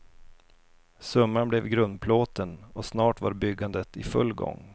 Summan blev grundplåten och snart var byggandet i full gång.